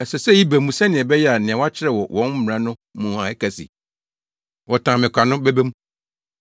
Ɛsɛ sɛ eyi ba mu, sɛnea ɛbɛyɛ a nea wɔakyerɛw wɔ wɔn Mmara no mu a ɛka se, ‘Wɔtan me kwa’ no bɛba mu.